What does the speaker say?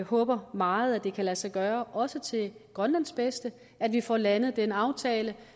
håber meget at det kan lade sig gøre også til grønlands bedste at vi får landet den aftale